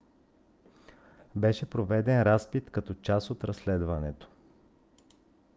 беше проведен разпит като част от разследването